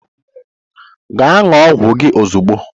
Gaa nnúo ọgwụ gị ozugbo!